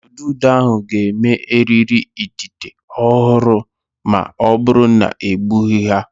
Ududo ahụ ga-eme eriri idide ọhụrụ ma ọ bụrụ na egbughị ha.